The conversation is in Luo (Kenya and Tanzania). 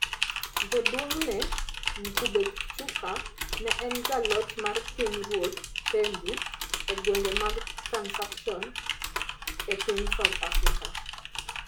Jaduong'ne, Ngubengcuka, ne en jaloch mar pinyruodh Thembu e gwenge mag Transkeian e piny South Africa,